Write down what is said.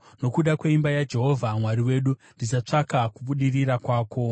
Nokuda kweimba yaJehovha Mwari wedu, ndichatsvaka kubudirira kwako.